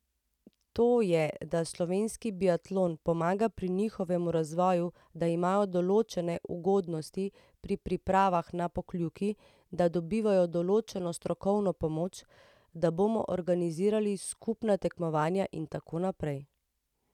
To je, da slovenski biatlon pomaga pri njihovemu razvoju, da imajo določene ugodnosti pri pripravah na Pokljuki, da dobivajo določeno strokovno pomoč, da bomo organizirali skupna tekmovanja in tako naprej.